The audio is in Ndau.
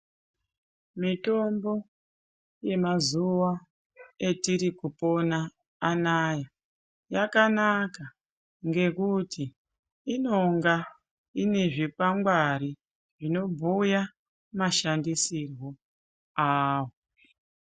Mitombo yemazuwa etiri kupona anaya yakanaka ngekuti inonga ine zvikwangwari zvinobhuya mashandisirwo awo.